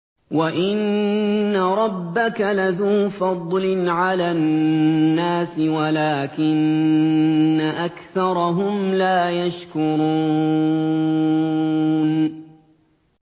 وَإِنَّ رَبَّكَ لَذُو فَضْلٍ عَلَى النَّاسِ وَلَٰكِنَّ أَكْثَرَهُمْ لَا يَشْكُرُونَ